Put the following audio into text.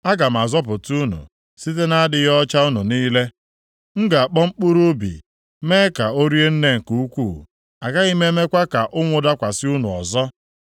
Aga m azọpụta unu site na-adịghị ọcha unu niile. M ga-akpọ mkpụrụ ubi, mee ka o rie nne nke ukwu, agaghị m emekwa ka ụnwụ dakwasị unu ọzọ.